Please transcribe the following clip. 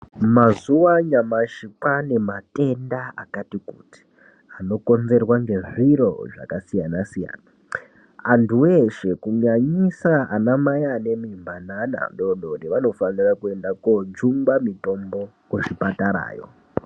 Mazuva anyamashi kwaanematenda akati kuti anokonzerwa ngezviro zvakasiyana-siyana. Antu weshe kunyanyisa anamai anemimba neana adoodori vanofanira kuenda koojungungwa mitombo kuzvipatarayo.